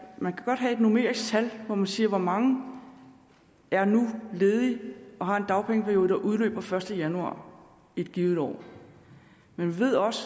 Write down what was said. man kan godt have et numerisk tal som siger hvor mange der er ledige nu og har en dagpengeperiode der udløber den første januar et givet år men vi ved også